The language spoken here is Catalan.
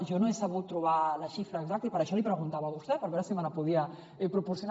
jo no he sabut trobar la xifra exacta i per això li preguntava a vostè per veure si me la podia proporcionar